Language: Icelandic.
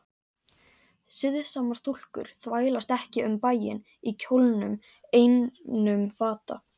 Siðsamar stúlkur þvælast ekki um bæinn í kjólnum einum fata